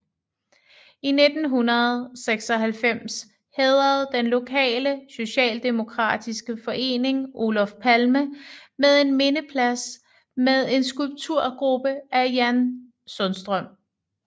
I 1996 hædrede den lokale socialdemokratiske forening Olof Palme med en mindeplads med en skulpturgruppe af Jan Sundström